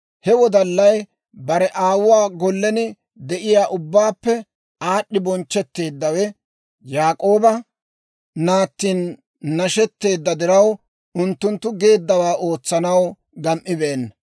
He wodallay, bare aawuwaa gollen de'iyaa ubbaappe aad'd'i bonchchetteeddawe, Yaak'ooba naattin nashetteedda diraw, unttunttu geeddawaa ootsanaw gam"ibeena.